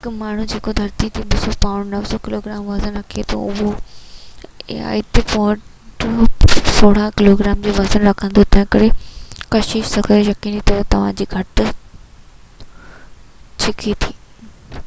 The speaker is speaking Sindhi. هڪ ماڻهو جيڪو ڌرتيءَ تي 200 پائونڊ 90 ڪلوگرام وزن رکي ٿو اهو آئي او تي 36 پائونڊ 16 ڪلوگرام جو وزن رکندو. تنهن ڪري ڪشش ثقل، يقيني طور، توهان کي گهٽ ڇڪي ٿي